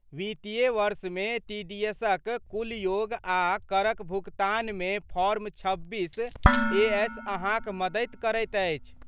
वित्तीय वर्षमे टीडीएसक कुल योग आ करक भुगतानमे फॉर्म छब्बीस ए. एस. अहाँक मदति करैत अछि।